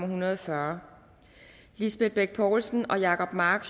hundrede og fyrre lisbeth bech poulsen og jacob mark